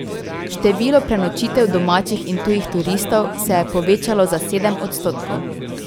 Število prenočitev domačih in tujih turistov se je povečalo za sedem odstotkov.